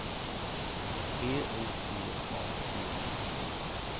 P O T A T I S